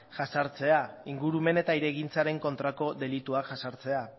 jazartzea ingurumen eta hirigintzaren kontrako delituak jazartzea